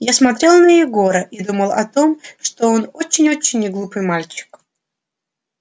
я смотрел на егора и думал о том что он очень очень неглупый мальчик